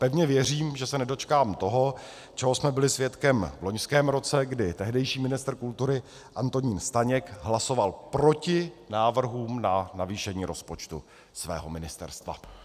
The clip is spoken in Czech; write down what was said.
Pevně věřím, že se nedočkám toho, čeho jsme byli svědkem v loňském roce, kdy tehdejší ministr kultury Antonín Staněk hlasoval proti návrhům na navýšení rozpočtu svého ministerstva.